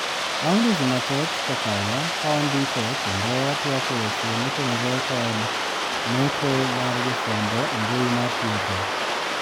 Bang dweche mathoth kokalo kawandiko kendo watwak eweche motenore kod kod meko mar jofwambo embui mar Twitta.